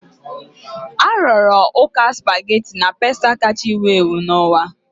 A rụrụ ụka spaghetti na pasta kacha ewu ewu n'ụwa.